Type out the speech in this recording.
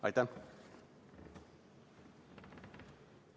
Aitäh!